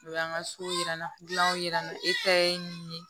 O y'an ka so yira an na dilanw yira an na e ta ye min ye